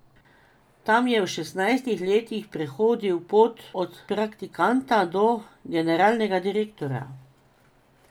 Tam je v šestnajstih letih prehodil pot od praktikanta do generalnega direktorja.